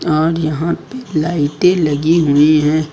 और यहां पे लाइटें लगी हुएं हैं।